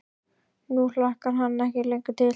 Nú hlakkar hann ekki lengur til.